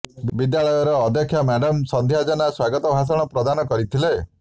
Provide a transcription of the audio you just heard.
ବିଦ୍ୟାଳୟର ଅଧ୍ୟକ୍ଷା ମ୍ୟାଡାମ୍ ସନ୍ଧ୍ୟା ଜେନା ସ୍ୱାଗତ ଭାଷଣ ପ୍ରଦାନ କରିଥିଲେ